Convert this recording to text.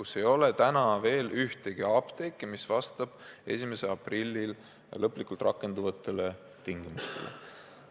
Seal ei ole praegu ühtegi apteeki, mis vastab 1. aprillil lõplikult rakenduvatele tingimustele.